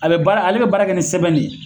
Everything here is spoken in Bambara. A bɛ baara ale bɛ baara kɛ ni sɛbɛn de ye.